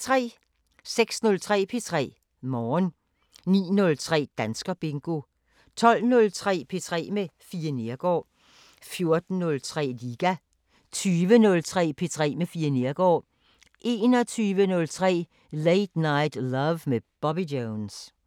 06:03: P3 Morgen 09:03: Danskerbingo 12:03: P3 med Fie Neergaard 14:03: Liga 20:03: P3 med Fie Neergaard 21:03: Late Night Love med Bobby Jones